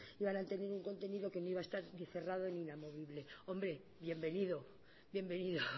iban a tener un contenido que no iba a estar cerrada ni inamovible hombre bienvenido bienvenido